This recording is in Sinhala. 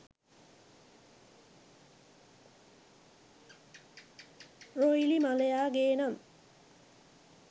රොයිලි මලයා ගේනම්